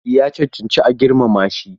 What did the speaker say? Ya cancanci a girmama shi.